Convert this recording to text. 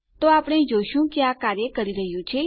તો આપણે જોઈ શકીએ છીએ કે આ કાર્ય કરી રહ્યું છે